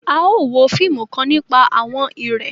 À yóò wo fiimù kan nipa àwọn ìrẹ̀